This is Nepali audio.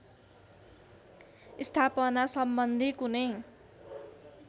स्थापना सम्बन्धी कुनै